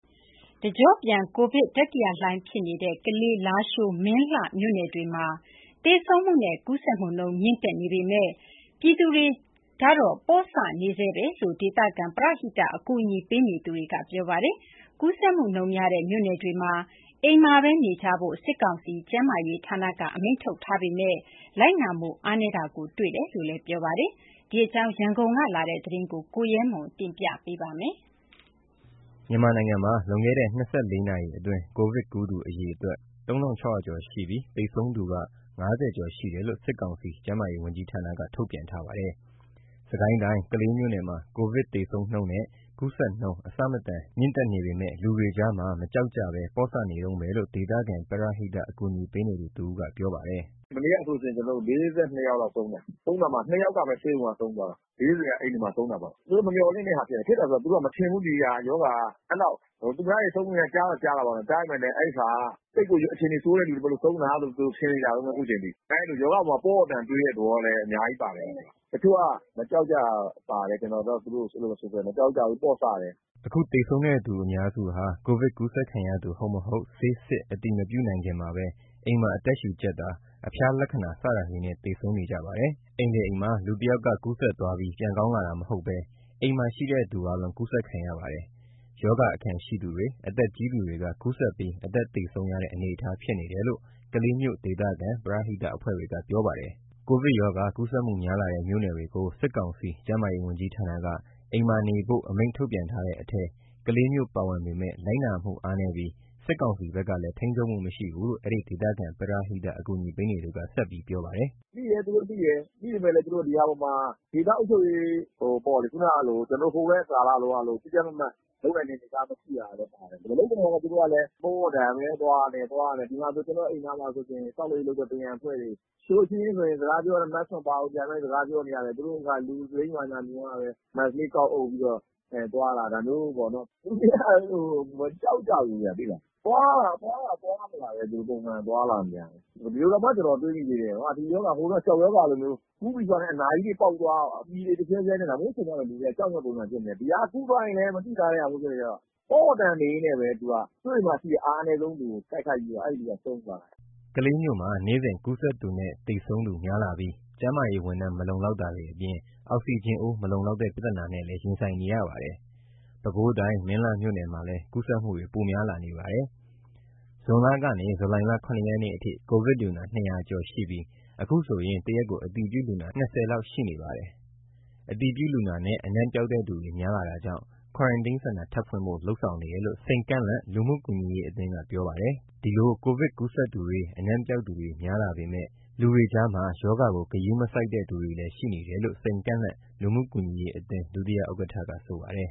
တကျော့ပြန် ကိုဗစ်တတိယလှိုင်ဖြစ်နေတဲ့ ကလေး၊ လားရှိုး၊ မင်းလှမြို့နယ်တွေမှာ သေဆုံးနဲ့ ကူးစက်နှုန်း မြင့်တက်နေပေမယ့် ပြည်သူတွေက မကြောက်ကြဘဲ ပေါ့ဆနေတုန်းပဲလို့ ဒေသခံပရဟိတ အကူအညီပေးနေတဲ့တွေက ပြောပါတယ်။ ကူးစက်နှုန်းများတဲ့ မြို့နယ်တွေမှာ အိမ်မှာဘဲနေကြဖို့ စစ်ကောင်စီကျန်းမာရေးဝန်ကြီးဌာနက အမိန့်ထုတ်ပြန်ထားပေမယ့် လိုက်နာမှုအားနည်းတာ တွေ့ရတယ်လို့ပြောပါတယ်။ ဒီအကြောင်းကို ရန်ကုန်ကလာတဲ့သတင်းကို ကိုရဲမှနျက တင်ပြပေးပါမယ်။ မြန်မာနိုင်မှာ လွန်ခဲ့တဲ့ ၂၄ နာရီအတွင်း ကိုဗစ်ကူးသူ အရေအတွက် ၃၆၀၀ ကျော်ရှိပြီး သေဆုံးသူက ၅၀ ကျော်ရှိတယ်လို့ စစ်ကောင်စီ ကျန်မားရေးဝန်ကြီးဌာနက ထုတ်ပြန်ထားပါတယ်။ စစ်ကိုင်းတိုင်း၊ ကလေးမြို့နယ်မှာ ကိုဗစ်သေဆုံးနှုန်းနဲ့ ကူးစက်နှုန်း အဆမတန် မြင့်တက်နေပေမယ့် လူတွေကြားမှာ မကြောက်ကြဘဲ ပေါ့ဆနေတုန်းပဲလို့ ဒေသခံပရဟိတ အကူအညီပေးနေသူ တစ်ဦးက ပြောပါတယ်။ “မနေ့ကဆိုလို့ရှိရင် ကျနော်တို့ ၄၂ လောက်ဆုံးတယ်၊ ဆုံးတာမှာ ၂ ယောက်ကပဲ ဆေးရုံးမှာဆုံးသွားတာ။ ၄၀ က အိမ်တွေမှာ ဆုံးတာပေါ့။ သူတို့မမျှော်လင့်တဲ့ဟာ ဖြစ်တယ်၊ ဖြစ်တယ်ဆိုတာ သူတို့က မထင်ဘူး ဒီဟာ ရောဂါက အဲ့လောက် သူများတွေ ဆုံးနေတာ ကြားတော့ ကြားတာပေါ့နော်။ ကြားပေမယ့်လည်း အဲ့ဟာက သိပ်ပြီး အခြေအနေဆိုးတဲ့ သူတွေမို့လို့ ဆုံးတာလို့ သူတို့ ထင်နေကြတုန်းပဲ အခုချိန်ထိ၊ ရောဂါအပေါ်မှာ ပေါ့ပေ့ါတန်တန်တွေးတဲ့သဘောလည်း အများကြီးပါတယ်၊ တချို့က မကြောက်ကြတာလည်း ပါတယ်။ ကျနော်အတွက် သူတို့ကို အဲ့လိုပဲဆိုချင်တယ်။ မကြောက်ကြဘူး ပေါ့ဆတယ်။” အခုသေဆုံးတဲ့သူအများစုဟာ ကိုဗစ်ကူးခံရသူ ဟုတ်မဟုတ် ဆေးစစ် အတည်မပြုနိုင်ခင်မှာဘဲ အိမ်မှာအသက်ရှူကျပ်တာ၊ အဖျားလက္ခဏာ စတာတွေနဲ့ သေဆုံးကြပါတယ်။ အိမ်တစ်အိမ်မှာ လူတစ်ယောက်က ကူးစက်သွားပြီး ပြန်ကောင်းလာတာမဟုတ်ဘဲ အဲ့အိမ်မှာရှိတဲ့သူအားလုံး ကူးစက်ခံရပါတယ်။ အဲ့မှာရှိတဲ့ ရောဂါအခံရှိသူတွေ၊ အသက်ကြီးသူတွေက ကူးစက်ပြီး အသက်သေဆုံးရတဲ့ အနေအထားဖြစ်နေတယ်လို့ ကလေးမြို့ ဒေသခံ ပရဟိတအဖွဲ့တွေက ပြောပါတယ်။ ကိုဗစ်ရောဂါ ကူးစက်မှုများလာတဲ့ မြို့နယ်တွေကို စစ်ကောင်စီကျန်းမာရေးဝန်ကြီးဌာနက အိမ်မှာနေတဲ့ အမိန့်ထုတ်ပြန်ထားတဲ့အထဲ ကလေးမြို့ပါဝင်ပေမယ့် လိုက်နားမှုအားနည်းပြီး စစ်ကောင်စီဘက်ကလည်း ထိန်းချုပ်မှု မရှိဘူးလို့ အဲ့ဒီဒေသခံပရဟိတ အကူအညီပေးနေသူက ဆက်ပြောပါတယ်။ “သူတို့သိတယ်၊ သူတို့သိတယ်။ သိပေမယ့် ဒီဟာအပေါ်မှာ ဒေသအုပ်ချုပ်ရေးပေါ့လေ၊ ခုနကလို ကျနော်တို့ ဟိုကိုဗစ်ကာလကလိုမျိုး ကြပ်ကြပ်မတ်မတ်လုပ်နိုင်တဲ့ အနေအထားမရှိတာလည်း ပါတယ်။ မလုပ်တော့လည်း သူတို့ကလည်း ပေါ့ပေါ့တန်တန်ပဲ သွားနေတယ်၊ ဒီမှာဆို ကျနော်အိမ်နားမှာဆိုလို့ရှိရင် ဆောက်လုပ်ရေးလုပ်တဲ့ ပရံအဖွဲ့တွေ၊ သူတို့အချင်းချင်းဆိုရင် စကားပြောရင် Mask မပါဘူး ဒီတိုင်းပဲစကားပြောနေကြတယ်။ သူတို့က လူစိမ်းဘာညာမြင်မှပဲ Mask လေး ကောက်အုပ်ပြီးတော့ သွားလာနေတာ၊ ဒါမျိုးပေါ့နော်။ လူတွေက မကြောက်ကြဘူးဗျ သိလား။ သွားလာတာ သွားတာသွားနေတာပဲ ပုံမှန်သွားလာနေတာပဲ။ ဒီလိုတောင်မှ ကျနော်တွေးမိသေးတယ်၊ ဒီရောဂါ ဟိုတုန်းက ကျောက်ရောဂါလိုမျိုး၊ ကူးပြီးဆိုတာနဲ့ အနာကြီးတွေပေါက်သွား၊ ပြည်တွေ တဖြန်းဖြန်းနဲ့ ဒါမျိုးဖြစ်သွားမှ လူတွေက ကြောက်မယ့် ပုံစံဖြစ်နေတယ်။ ဒီဟာ ကူးသွားရင်လည်း မသိသာဘူးဖြစ်နေတော့ ပေါ့ပေါ့တန်တန်နေရင်းနဲ့ပဲ သူက ကိုယ့်အိမ်မှာရှိတဲ့ အားအနည်းဆုံးလူကို တိုက်ခိုက်ပြီး အဲ့လူက ဆုံးသွားတာ။” ကလေးမြို့မှာ နေ့စဉ် ကူးစက်သူနဲ့ သေဆုံးသူ များလာပြီး ကျန်းမာရေးဝန်ထမ်း မလုံလောက်တာတွေအပြင် အောက်ဆီဂျင်အိုး မလုံလောက်တဲ့ ပြသနာနဲ့ ရင်ဆိုင်နေရပါတယ်။ ပဲခူးတိုင်း မင်းလှမြို့နယ်မှာလည်း ကူးစက်မှုတွေ ပိုများလာနေပါတယ်။ ဇွန်လကနေ ဇူလိုင်လ ၇ နေ့အထိ ကိုဗစ်လူနာ ၂၀၀ ကျော်ရှိပြီး အခုဆိုရင် တရက်ကို အတည်ပြုလူနာ ၂၀ ဦးလောက်ရှိနေပါတယ်။ အတည်ပြုလူနာနဲ့ အနံပျောက်တဲ့သူတွေ များလာတာကြောင့် Quarantine Center ထပ်ဖွင့်ဖို့ လုပ်ဆောင်နေတယ်လို့ စိန်ကန့်လန့်လူမှုကူညီရေးအသင်းက ပြောပါတယ်။ ဒီလို ကိုဗစ်ကူးစက်သူတွေ အနံပျောက်သူတွေ များလာပေမယ့် လူတွေကြားမှာ ရောဂါကို ဂရုမစိုက်တဲ့ သူတွေလည်း ရှိနေတယ်လို့ စိန်ကန့်လန့်လူမှုကူညီရေးအသင်း ဒုတိယဥက္ကဋ္ဌက ဆိုပါတယ်